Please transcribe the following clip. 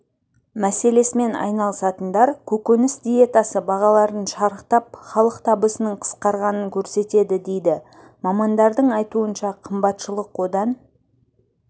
мәселесімен айналысатындар көкөніс диетасы бағалардың шарықтап халық табысының қысқарғанын көрсетеді дейді мамандардың айтуынша қымбатшылық одан